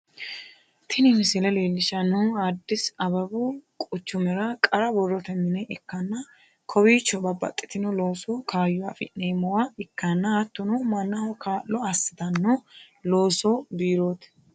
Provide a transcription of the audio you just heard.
Tini misile leellishshannohu addis ababau quchumira qarra borrote mine ikkanna, kowiicho bababxxitino loosu kaayyo afi'neemmowa ikkanna, hattono mannaho kaa'lo asitanno looso biirooti.